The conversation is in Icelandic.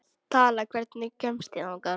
Tala, hvernig kemst ég þangað?